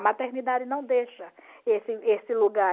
A maternidade não deixa esse esse lugar.